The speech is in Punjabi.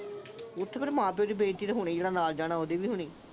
ਇਹ ਤਾਂ ਫਿਰ ਮਾ-ਪਿਓ ਦੀ ਬੇਇਜ਼ਤੀ ਤਾਂ ਹੋਣੀ ਹੀ ਆ ਤੇ ਜਿਹੜਾ ਨਾਲ ਜਾਣਾ ਉਹਦੀ ਵੀ ਹੋਣੀ।